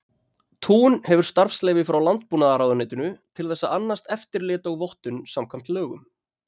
Tún hefur starfsleyfi frá Landbúnaðarráðuneytinu til þess að annast eftirlit og vottun samkvæmt lögum.